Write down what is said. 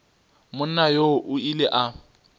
monna yoo o ile a